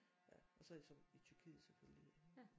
Ja og så har jeg så i Tyrkiet selvfølgelig